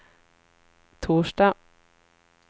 torsdag